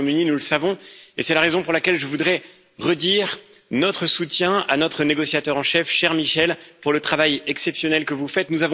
Nous le savons et c'est la raison pour laquelle je voudrais redire notre soutien à notre négociateur en chef à vous, cher Michel, pour le travail exceptionnel que vous faites.